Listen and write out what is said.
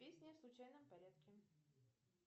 песни в случайном порядке